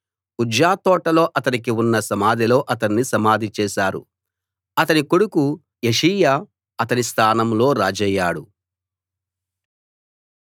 ఉజ్జా తోటలో అతనికి ఉన్న సమాధిలో అతణ్ణి సమాధి చేశారు అతని కొడుకు యోషీయా అతని స్థానంలో రాజయ్యాడు